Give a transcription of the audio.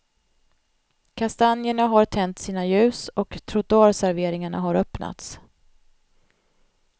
Kastanjerna har tänt sina ljus och trottoarserveringarna har öppnats.